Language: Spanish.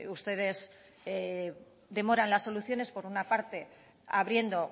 ustedes demoran las soluciones por una parte abriendo